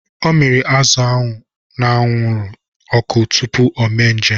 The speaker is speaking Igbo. Ọ miri azụ ahụ n'anwụrụ ọkụ tupu o me njem.